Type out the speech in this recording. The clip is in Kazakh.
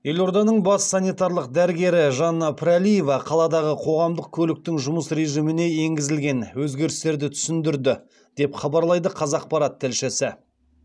елорданың бас санитарлық дәрігері жанна пірәлиева қаладағы қоғамдық көліктің жұмыс режиміне енгізілген өзгерістерді түсіндірді деп хабарлайды қазақпарат тілшісі